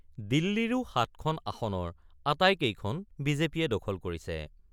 দিল্লীৰো ৭খন আসনৰ আটাইকেইখন বিজেপিয়ে দখল কৰিছে।